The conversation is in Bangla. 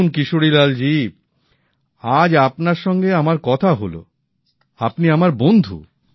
দেখুন কিশোরীলাল জি আজ আপনার সঙ্গে আমার কথা হল আপনি আমার বন্ধু